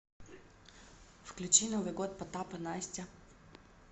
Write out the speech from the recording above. включи новый год потап и настя